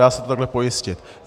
Dá se to tahle pojistit.